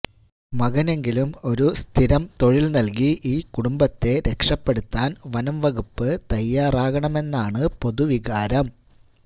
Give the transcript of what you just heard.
മകനെങ്കിലും ഒരു സ്ഥിരം തൊഴിൽ നൽകി ഈ കുടുംബത്തെ രക്ഷപ്പെടുത്താൻ വനം വകുപ്പ് തയാറാകണമെന്നാണ് പൊതുവികാരം